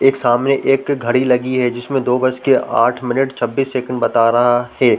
एक सामने एक घड़ी लगी है जिसमें दो बजके आठ मिनट छब्बीस सेकंड बता रहा हे ।